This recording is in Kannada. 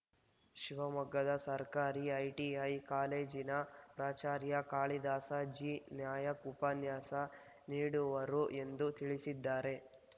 ಶಿವಮೊಗ್ಗದ ಸರ್ಕಾರಿ ಐಟಿಐ ಕಾಲೇಜಿನ ಪ್ರಾಚಾರ್ಯ ಕಾಳಿದಾಸ ಜಿ ನಾಯ್ಕ ಉಪನ್ಯಾಸ ನೀಡುವರು ಎಂದು ತಿಳಿಸಿದ್ದಾರೆ